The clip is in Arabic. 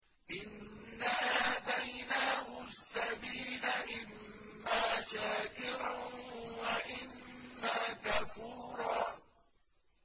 إِنَّا هَدَيْنَاهُ السَّبِيلَ إِمَّا شَاكِرًا وَإِمَّا كَفُورًا